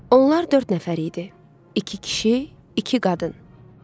Onlar dörd nəfər idi: iki kişi, iki qadın.